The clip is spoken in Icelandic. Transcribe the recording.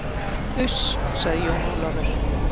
Uss, sagði Jón Ólafur.